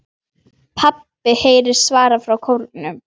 PABBI heyrist svarað frá kórnum.